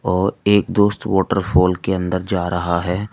और एक दोस्त वॉटरफॉल के अंदर जा रहा है।